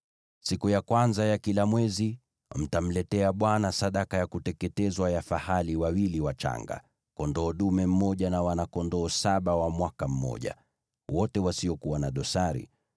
“ ‘Siku ya kwanza ya kila mwezi, mtamletea Bwana sadaka ya kuteketezwa ya fahali wawili wachanga, kondoo dume mmoja na wana-kondoo saba wa mwaka mmoja, wote wasiokuwa na dosari.